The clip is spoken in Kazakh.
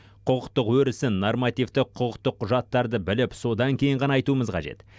құқықтық өрісін нормативті құқықтық құжаттарды біліп содан кейін ғана айтуымыз қажет